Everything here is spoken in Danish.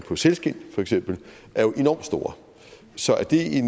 for sælskind feks er jo enormt stor så er